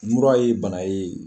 Mura ye bana ye